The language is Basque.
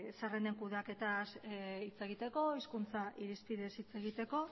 zerrenden kudeaketaz hitz egiteko hizkuntza irizpidez hitz egiteko